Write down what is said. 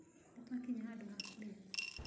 Nĩtwakinya handũ ha kũria